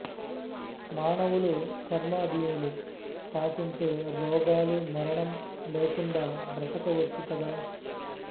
మానవులు కర్మాధీనులు కాకుంటే రోగాలు మరణం లేకుండా బ్రతకవచ్చు కదా